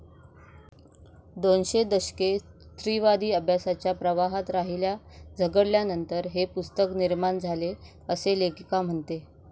दोनशे दशके स्त्रीवादी अभ्यासाच्या प्रवाहात राहील्या, झगडल्यानंतर हे पुस्तक निर्माण झाले असे लेखिका म्हणते.